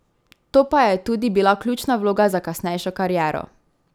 To pa je tudi bila ključna vloga za kasnejšo kariero.